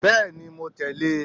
beeni mo tele e